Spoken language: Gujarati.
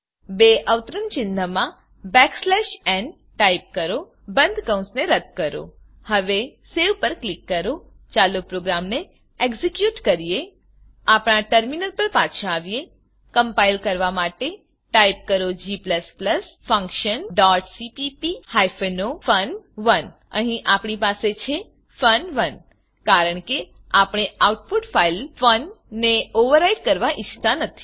બે અવતરણ ચિન્હમાં backslash n backslash n type કરો બંધ કૌંસને રદ્દ કરો હવે સવે પર ક્લિક કરો ચાલો પ્રોગ્રામને એક્ઝેક્યુટ કરીએ આપણા ટર્મીનલ પર પાછા આવીએ કમ્પાઈલ કરવાં માટે ટાઈપ કરો g functionસીપીપી o ફન1 અહીં આપણી પાસે છે ફન1 કારણ કે આપણે આઉટપુટ ફાઈલfun ને ઓવરરાઈટ કરવાં ઈચ્છતા નથી